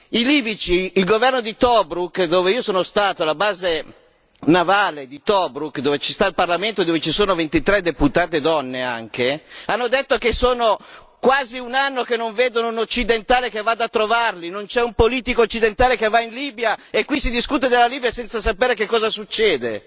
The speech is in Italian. I libici del governo di Tobruk, dove sono stato la base navale di Tobruk in cui ha sede il parlamento, in cui siedono ventitré deputate donne hanno detto che è quasi un anno che non vedono un occidentale che vada a trovarli non c'è un politico occidentale che va in Libia e qui si discute della Libia senza sapere che cosa succede!